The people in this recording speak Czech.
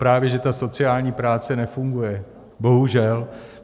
Právě že ta sociální práce nefunguje, bohužel.